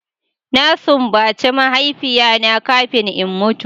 Na simbace mahaifiya na kafin in mutu.